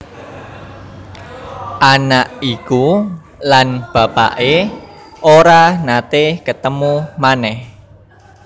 Anak iku lan bapaké ora naté ketemu manèh